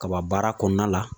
Kaba baara kɔnɔna la